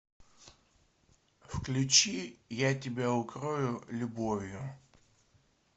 включи я тебя укрою любовью